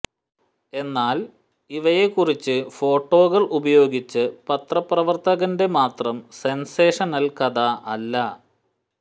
എന്നാൽ ഈ ഇവയെക്കുറിച്ച് ഫോട്ടോകൾ ഉപയോഗിച്ച് പത്രപ്രവർത്തകന്റെ മാത്രം സെൻസേഷനൽ കഥ അല്ല